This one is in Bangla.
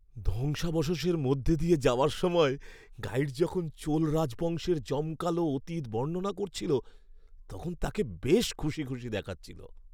ধ্বংসাবশেষের মধ্যে দিয়ে যাওয়ার সময় গাইড যখন চোল রাজবংশের জমকালো অতীত বর্ণনা করছিল তখন তাকে বেশ খুশি খুশি দেখাচ্ছিল।